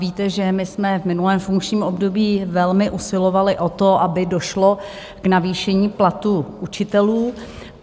Víte, že my jsme v minulém funkčním období velmi usilovali o to, aby došlo k navýšení platů učitelů.